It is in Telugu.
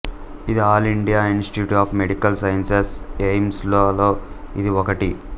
ఇది all India institute of medical sciences AIIMS లలో ఇది ఒకటి